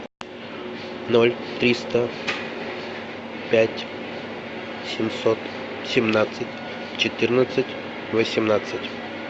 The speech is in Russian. ноль триста пять семьсот семнадцать четырнадцать восемнадцать